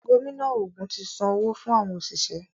Gómìnà ògún tí Sàn owo fún àwọn oṣiṣẹ.